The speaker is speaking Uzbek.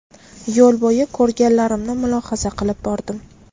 Yo‘l bo‘yi ko‘rganlarimni mulohaza qilib bordim.